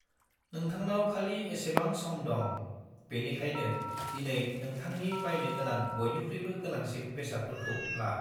नोंथांनाव खालि एसेबां सम दं, बेनिखायनो दिनै नोंथांनि बायनो गोनां बयनिख्रुयबो गोनांसिन बेसादफोरखौ ला।